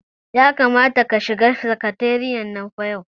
Ya kamata ka shiga sakatariyan nan fa yau.